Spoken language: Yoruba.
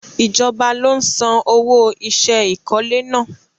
Ijọba lo n san owo iṣẹ́ ìkọ́lé náà